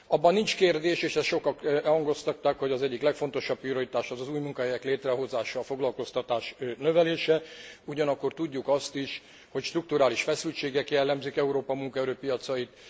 Abban nincs kérdés, és ezt sokak hangoztatták, hogy az egyik legfontosabb prioritás az új munkahelyek létrehozása, a foglalkoztatás növelése, ugyanakkor tudjuk azt is, hogy strukturális feszültségek jellemzik Európa munkaerőpiacait.